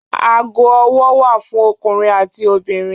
Ago ọwọ́ wà fún ọkùnrin àti obìnrin.